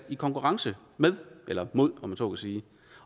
i konkurrence med eller mod om jeg så må sige